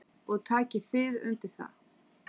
Haukur: Og takið þið undir það?